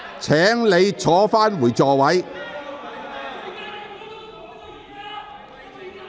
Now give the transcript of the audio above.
請你返回座位。